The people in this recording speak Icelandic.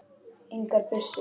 Engar byssur.